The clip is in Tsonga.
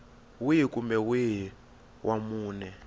wihi kumbe wihi wa mune